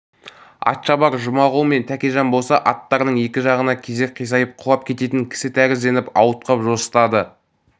атшабар жұмағұл мен тәкежан болса аттарының екі жағына кезек қисайып құлап кететін кісі тәрізденіп ауытқып жосытады